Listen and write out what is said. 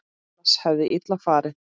Annars hefði illa farið.